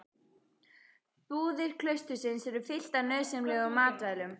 Búðir klaustursins eru fylltar nauðsynlegum matvælum.